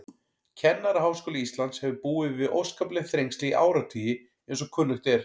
Kennaraháskóli Íslands hefur búið við óskapleg þrengsli í áratugi, eins og kunnugt er.